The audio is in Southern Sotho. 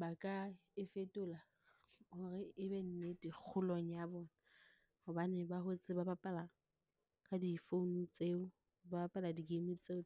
Ba ka e fetola hore e be nnete kgolong ya bona, hobane ba hotse ba bapala ka di-phone tseo, ba bapala di-game tseo.